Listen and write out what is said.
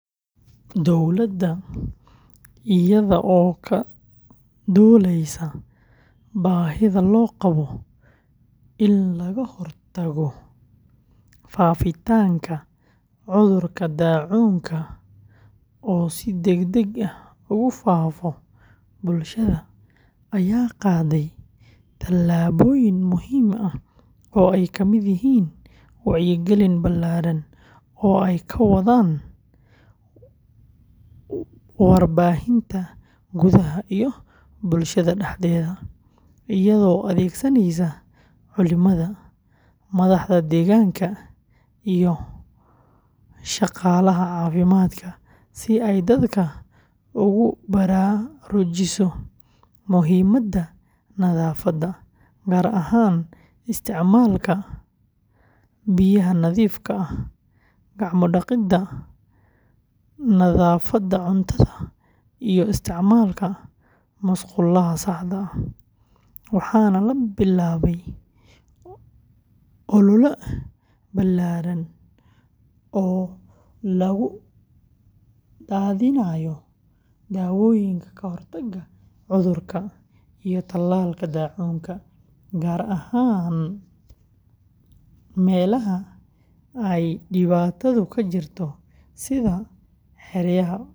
Dowladda iyada oo ka duuleysa baahida loo qabo in laga hortago faafitaanka cudurka daacuunka oo si degdeg ah ugu faafo bulshada, ayaa qaaday tallaabooyin muhiim ah oo ay ka mid yihiin wacyigelin ballaaran oo ay ka wadaan warbaahinta gudaha iyo bulshada dhexdeeda, iyadoo adeegsaneysa culimada, madaxda deegaanka, iyo shaqaalaha caafimaadka si ay dadka ugu baraarujiso muhiimadda nadaafadda, gaar ahaan isticmaalka biyaha nadiifka ah, gacmo dhaqidda, nadaafadda cuntada, iyo isticmaalka musqulaha saxda ah, waxaana la bilaabay ol’ole ballaaran oo lagu daadinayo dawooyinka kahortagga cudurka iyo talaalka daacuunka, gaar ahaan meelaha ay dhibaatadu ka jirto sida xeryaha.